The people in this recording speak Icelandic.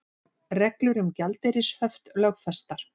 Reglur um gjaldeyrishöft lögfestar